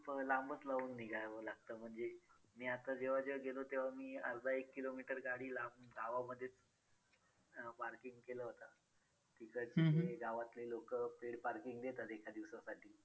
लांबच लावून निघावं लागतं म्हणजे मी आता जेव्हा जेव्हा गेलो तेव्हा मी अर्धा एक किलोमीटर गाडी लांब गावामध्येच अं parking केलं होतं. तिकडचे गावातले लोकं paid parking देतात एका दिवसासाठी